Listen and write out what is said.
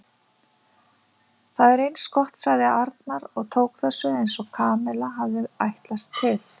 Það er eins gott sagði Arnar og tók þessu eins og Kamilla hafði ætlast til.